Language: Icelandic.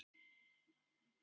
Hvar er skerpikjötið?